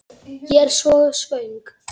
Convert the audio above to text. Ég er svo svöng.